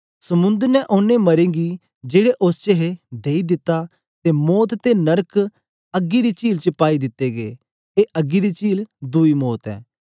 समुंद्र ने ओनें मरें गी जेड़े उस्स च हे देई दित्ता ते मौत ते नरक अग्गी दी चील च पाई दित्ते गै ए अग्गी दी चील दुई मौत ऐ